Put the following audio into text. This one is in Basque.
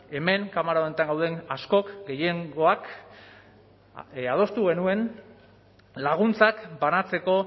hemen kamera honetan gauden askok gehiengoak adostu genuen laguntzak banatzeko